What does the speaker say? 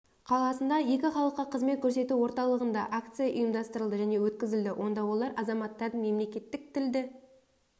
қаласындағы екі халыққа қызмет көрсету орталығында акция ұйымдастырылды және өткізілді онда олар азаматтарды мемлекеттік тілді